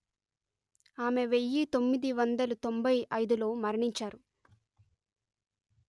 ఆమె వెయ్యి తొమ్మిది వందలు తొంభై అయిదు లో మరణించారు